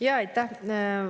Aitäh!